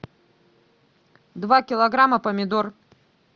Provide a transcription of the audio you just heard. два килограмма помидор